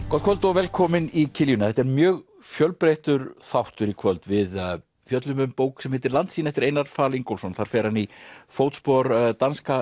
gott kvöld og velkomin í þetta er mjög fjölbreyttur þáttur í kvöld við fjöllum um bók sem heitir Landsýn eftir Einar Fal Ingólfsson þar fer hann í fótspor danska